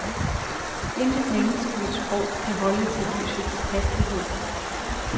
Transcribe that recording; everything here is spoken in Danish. Intet menneskeligt sprog kan holde til lysets hastighed.